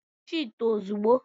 Mechie ite ozugbo!